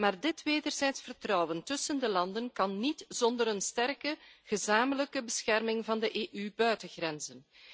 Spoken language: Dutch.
Maar dit wederzijds vertrouwen tussen de landen kan niet zonder een sterke gezamenlijke bescherming van de EU buitengrenzen.